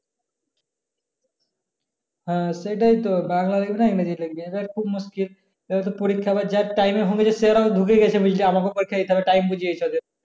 হ্যাঁ সেটাই তো বাংলা লেখব না কি ইংরেজী লেখবি এই জায়গায় তো খুবি মুশকিল এভাবে পরীক্ষা যার time এ হবে সেরাও ঢুকে গেছে আমাকেও time বুঝে যেতে হবে